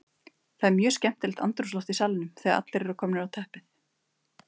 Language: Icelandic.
Það er mjög skemmtilegt andrúmsloft í salnum þegar allir eru komnir á teppið.